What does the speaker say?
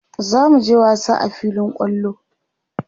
zamuje wasa a filin kwallo